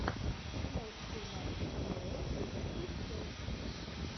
прямой эфир матча апл ливерпуль челси